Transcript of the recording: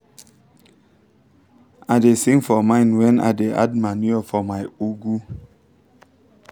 i da sing for mind when i da add manure for my ugu